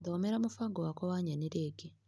Thomera mũbango wakwa wa nyeni rĩngĩ .